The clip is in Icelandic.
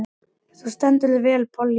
Þú stendur þig vel, Polly!